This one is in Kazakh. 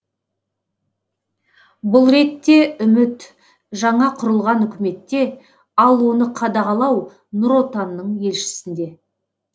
бұл ретте үміт жаңа құрылған үкіметте ал оны қадағалау нұр отанның елшісінде